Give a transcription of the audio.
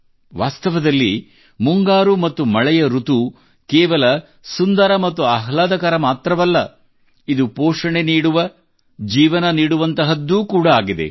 ವಾಸ್ತವದಲ್ಲಿ ಮುಂಗಾರು ಮತ್ತು ಮಳೆಯ ಋತು ಕೇವಲ ಸುಂದರ ಮತ್ತು ಆಹ್ಲಾದಕರ ಮಾತ್ರವಲ್ಲ ಇದು ಪೋಷಣೆ ನೀಡುವ ಜೀವನ ನೀಡುವಂತಹದ್ದೂ ಕೂಡಾ ಆಗಿದೆ